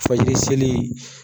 Fajiri seli